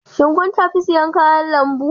Shin kun tafi siyan kayan lambu?